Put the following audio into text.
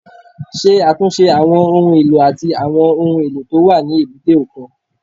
Ṣe àtúnṣe àwọn ohun èlò àti àwọn ohun èlò tó wà ní èbúté òkun